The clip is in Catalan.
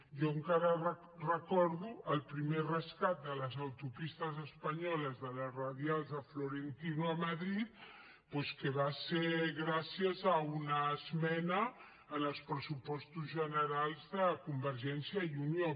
jo encara recordo el primer rescat de les autopistes espanyoles de les radials de florentino a madrid doncs que va ser gràcies a una esmena en els pressupostos generals de convergència i unió